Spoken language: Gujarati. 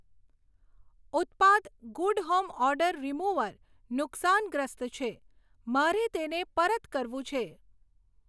ઉત્પાદ ગૂડ હોમ ઓડોર રીમુવર નુકસાનગ્રસ્ત છે, મારે તેને પરત કરવું છે.